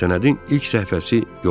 Sənədin ilk səhifəsi yoxdur.